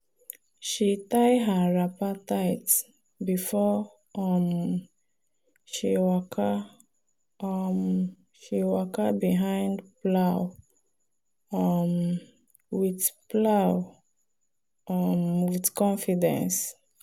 she tie her wrapper tight before um she waka um behind plow um with plow um with confidence.